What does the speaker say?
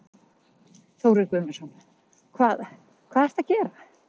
Þórir Guðmundsson: Hvað, hvað ertu að gera?